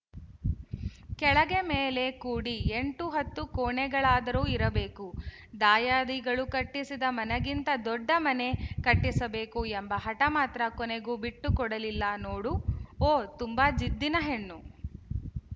ಕೆಳಗೆ ಮೇಲೆ ಕೂಡಿ ಎಂಟು ಹತ್ತು ಕೋಣೆಗಳಾದರೂ ಇರಬೇಕು ದಾಯಾದಿಗಳು ಕಟ್ಟಿಸಿದ ಮನೆಗಿಂತ ದೊಡ್ಡ ಮನೆ ಕಟ್ಟಿಸಬೇಕು ಎಂಬ ಹಟ ಮಾತ್ರ ಕೊನೆಗೂ ಬಿಟ್ಟುಕೊಡಲಿಲ್ಲ ನೋಡು ಓ ತುಂಬ ಜಿದ್ದಿನ ಹೆಣ್ಣು